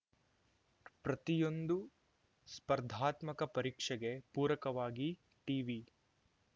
ಪ್ರತಿಯೊಂದು ಸ್ಪರ್ಧಾತ್ಮಕ ಪರೀಕ್ಷೆಗೆ ಪೂರಕವಾಗಿ ಟಿವಿ